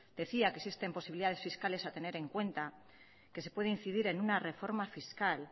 decía que existen posibilidades fiscales a tener en cuenta que se puede incidir en una reforma fiscal